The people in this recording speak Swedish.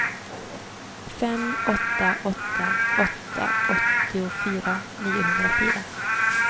fem åtta åtta åtta åttiofyra niohundrafyra